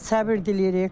Səbr diləyirik.